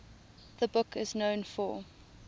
the book is known for